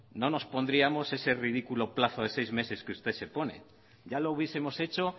no nos pondríamos ese ridículo plazo de seis meses que usted se pone ya lo hubiesemos hecho